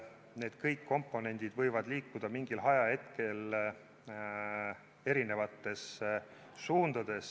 Need kõik komponendid võivad mingil ajahetkel liikuda eri suundades.